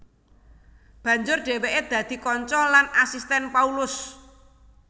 Banjur dhèwèké dadi kanca lan asistèn Paulus